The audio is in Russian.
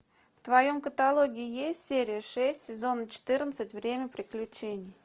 в твоем каталоге есть серия шесть сезон четырнадцать время приключений